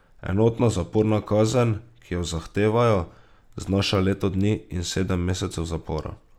Enotna zaporna kazen, ki jo zahtevajo, znaša leto dni in sedem mesecev zapora.